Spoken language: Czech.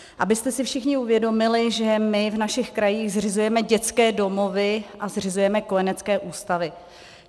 Abyste si všichni uvědomili, že my v našich krajích zřizujeme dětské domovy a zřizujeme kojenecké ústavy.